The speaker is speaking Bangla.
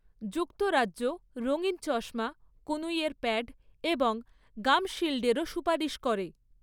যুক্তরাজ্য রঙিন চশমা, কনুইয়ের প্যাড এবং গাম শিল্ডেরও সুপারিশ করে।